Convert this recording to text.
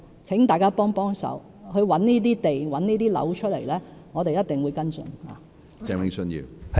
請大家幫幫忙，找出這些土地和樓宇，我們一定會跟進。